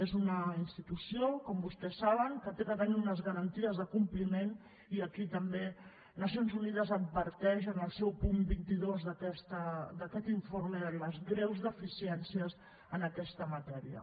és una institució com vostès saben que ha de tenir unes garanties de compliment i aquí també nacions unides adverteix en el seu punt vint dos d’aquest informe de les greus deficiències en aquesta matèria